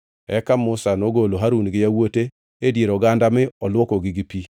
Eka Musa nogolo Harun gi yawuote e dier oganda mi olwokogi gi pi.